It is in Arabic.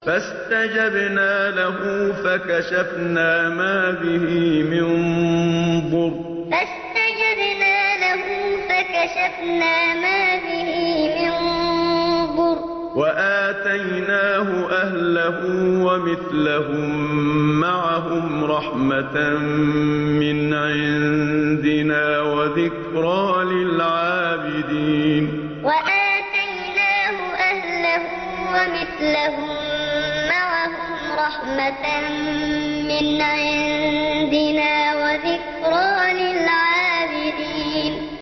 فَاسْتَجَبْنَا لَهُ فَكَشَفْنَا مَا بِهِ مِن ضُرٍّ ۖ وَآتَيْنَاهُ أَهْلَهُ وَمِثْلَهُم مَّعَهُمْ رَحْمَةً مِّنْ عِندِنَا وَذِكْرَىٰ لِلْعَابِدِينَ فَاسْتَجَبْنَا لَهُ فَكَشَفْنَا مَا بِهِ مِن ضُرٍّ ۖ وَآتَيْنَاهُ أَهْلَهُ وَمِثْلَهُم مَّعَهُمْ رَحْمَةً مِّنْ عِندِنَا وَذِكْرَىٰ لِلْعَابِدِينَ